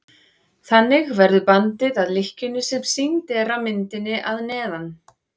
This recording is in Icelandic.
þannig verður bandið að lykkjunni sem sýnd er á myndinni að neðan